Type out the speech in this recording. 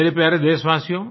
मेरे प्यारे देशवासियो